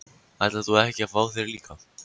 Ætlar þú ekki að fá þér líka?